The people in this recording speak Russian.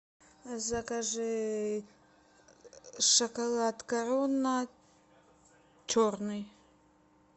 закажи шоколад корона черный